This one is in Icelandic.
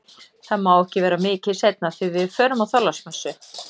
Það má ekki vera mikið seinna því við förum á Þorláksmessu